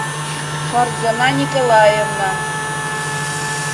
фарзана николаевна